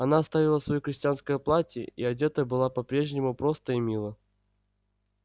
она оставила своё крестьянское платье и одета была по-прежнему просто и мило